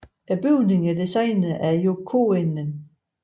Bygningen er designet af Jo Coenen